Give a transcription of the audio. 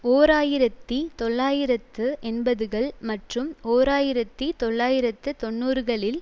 ஓர் ஆயிரத்தி தொள்ளாயிரத்து எண்பதுகள் மற்றும் ஓர் ஆயிரத்தி தொள்ளாயிரத்து தொன்னூறுகளில்